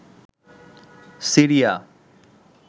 Syria